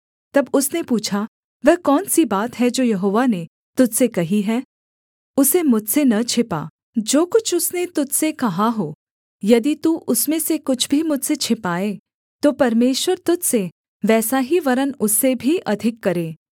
तब उसने पूछा वह कौन सी बात है जो यहोवा ने तुझ से कही है उसे मुझसे न छिपा जो कुछ उसने तुझ से कहा हो यदि तू उसमें से कुछ भी मुझसे छिपाए तो परमेश्वर तुझ से वैसा ही वरन् उससे भी अधिक करे